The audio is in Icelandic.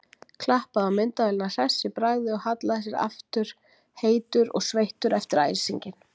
Klappaði á myndavélina hress í bragði og hallaði sér aftur, heitur og sveittur eftir æsinginn.